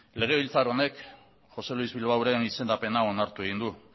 legebiltzar honek josé luis bilbaoren izendapena onartu egin du